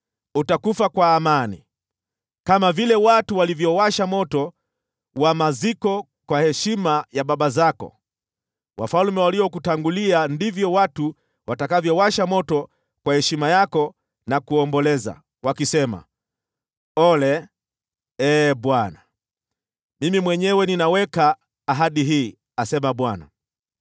utakufa kwa amani. Kama vile watu walivyowasha moto wa maziko kwa heshima ya baba zako, wafalme waliokutangulia, ndivyo watu watakavyowasha moto kwa heshima yako na kuomboleza, wakisema: “Ole, Ee Bwana !” Mimi mwenyewe ninaweka ahadi hii, asema Bwana .’”